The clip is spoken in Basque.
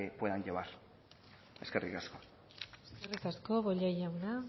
puedan llevar eskerrik asko eskerrik asko bollain jauna